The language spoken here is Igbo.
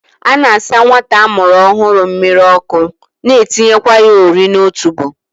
A na-asa nwata a mụrụ ọhụrụ mmiri ọkụ na teekwa ya ori n'otubo